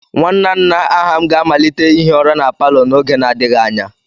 Nwanna nna Aham ga-amalite ihi ụra na palo n'oge n'adịghị anya.